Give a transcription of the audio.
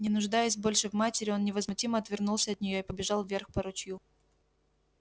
не нуждаясь больше в матери он невозмутимо отвернулся от неё и побежал вверх по ручью